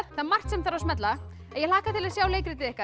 það er margt sem þarf að smella ég hlakka til að sjá leikritið ykkar